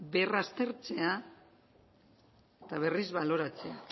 berraztertzea eta berriz baloratzea